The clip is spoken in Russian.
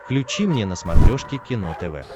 включи мне на смотрешке кино тв